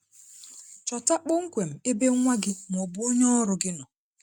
Chọta kpọmkwem ebe nwa gị ma ọ bụ onye ọrụ gị nọ.